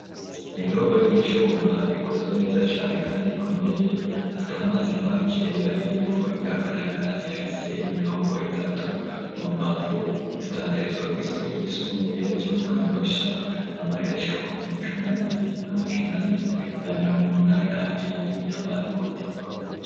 Indobo y'icuma ikozwe neza cane kandi ikomeye ,atamazi n'amakeya irimwo ,iragaragara ifise imirongo itatu mu mbavu indandarizwa kw' isoko ry'isumbuye ryo mu kanyosha, amahera ashika ku bihumbi cumi nabibiri n'amajanane na mirongo munani nabiri y'amarundi.